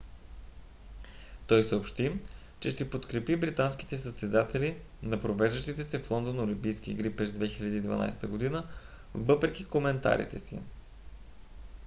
tой съобщи че ще подкрепи британските състезатели на провеждащите се в лондон олимпийски игри през 2012 г. въпреки коментарите си